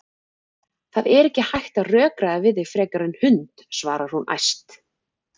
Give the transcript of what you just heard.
Það er ekki hægt að rökræða við þig frekar en hund, svarar hún æst.